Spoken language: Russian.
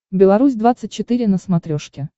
беларусь двадцать четыре на смотрешке